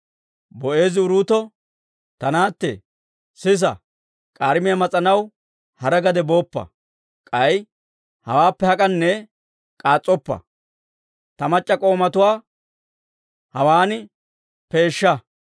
Boo'eezi Uruuto, «Ta naatte, sisa; k'aarimiyaa mas'anaw hara gade booppa. K'ay hawaappe hak'anne k'aas's'oppa. Ta mac'c'a k'oomatuwanna hawaan peesha.